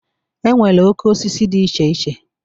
E nwere oke osisi dị iche iche.